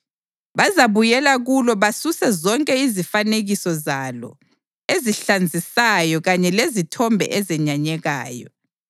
Bazabuyela kulo basuse zonke izifanekiso zalo ezihlazisayo kanye lezithombe ezenyanyekayo.